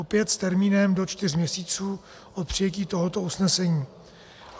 Opět s termínem do čtyř měsíců od přijetí tohoto usnesení.